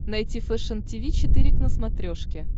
найти фэшен тиви четыре к на смотрешке